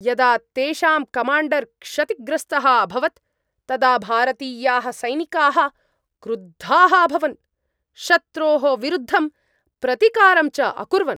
यदा तेषां कमाण्डर् क्षतिग्रस्तः अभवत् तदा भारतीयाः सैनिकाः क्रुद्धाः अभवन्, शत्रोः विरुद्धं प्रतिकारं च अकुर्वन्।